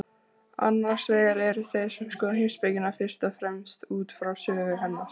Annars vegar eru þeir sem skoða heimspekina fyrst og fremst út frá sögu hennar.